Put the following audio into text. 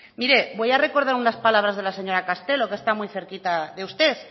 mire voy a recordar unas palabras de la señora castelo que está muy cerquita de usted